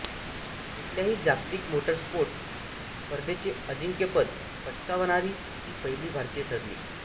कुठल्याही जागतिक मोटरस्पोर्ट्स स्पर्धेचे अजिंक्यपद पटकावणारी ती पहिली भारतीय ठरली